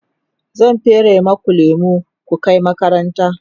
zan fere maku lemu ku Kai makaranta